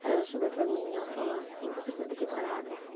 Aí ela chegou para mim e ela falou assim, você sabe o que é parágrafo?